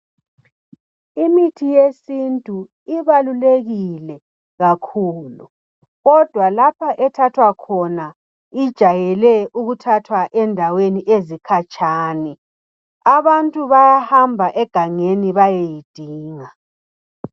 Imithi yesintu ibalulekile kakhulu kodwa lapha ethathwa khona ijayele ukuthathwa endaweni ezkhatshana. Abantu bayahamba egangeni bayeyidinga.